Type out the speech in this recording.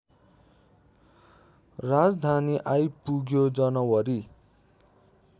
राजधानी आइपुग्यो जनवरी